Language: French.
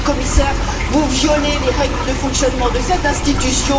Monsieur le Commissaire, vous violez les règles de fonctionnement de cette institution.